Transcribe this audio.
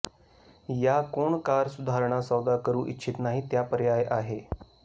या कोण कार सुधारणा सौदा करू इच्छित नाही त्या पर्याय आहे